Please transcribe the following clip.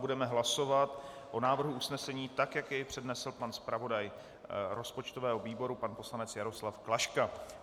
Budeme hlasovat o návrhu usnesení, tak jak jej přednesl pan zpravodaj rozpočtového výboru pan poslanec Jaroslav Klaška.